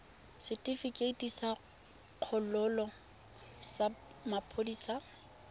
setefikeiti sa kgololo sa maphodisa